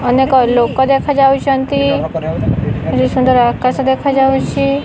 ଅନେକ ଲୋକ ଦେଖା ଯାଉଚନ୍ତି କେଡେ ସୁନ୍ଦର ଆକାଶ ଦେଖା ଯାଉଚି।